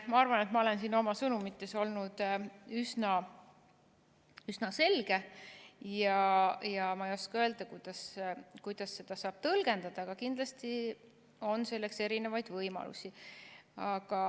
Ma arvan, et ma olen siin oma sõnumites olnud üsna selge, ja ma ei oska öelda, kuidas seda saab tõlgendada, aga kindlasti on selleks erinevaid võimalusi.